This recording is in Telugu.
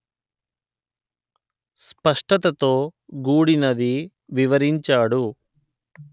స్పష్టతతో గూడినది వివరించాడు